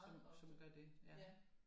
Som gør det